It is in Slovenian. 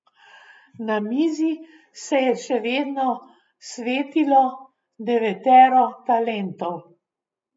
Na mizi se je še vedno svetilo devetero talentov.